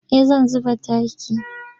Eh zan zuba taki.